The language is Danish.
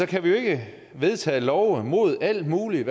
kan vi jo ikke vedtage love mod alt muligt